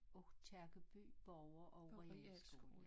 Aakirkeby boger og realskole